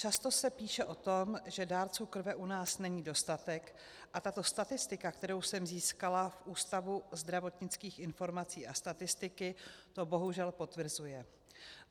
Často se píše o tom, že dárců krve u nás není dostatek, a tato statistika, kterou jsem získala v Ústavu zdravotnických informací a statistiky, to bohužel potvrzuje.